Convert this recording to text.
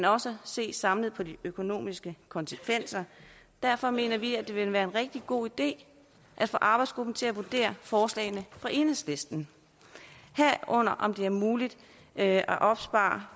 også se samlet på de økonomiske konsekvenser derfor mener vi at det vil være en rigtig god idé at få arbejdsgruppen til at vurdere forslagene fra enhedslisten herunder om det er muligt at opspare